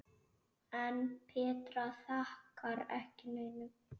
En Petra þakkar ekki neinum.